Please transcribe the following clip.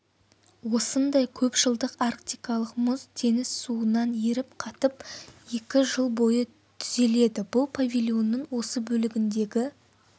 осындай көпжылдық арктикалық мұз теңіз суынан еріп қатып екі жыл бойы түзеледі бұл павильонның осы бөлігіндегі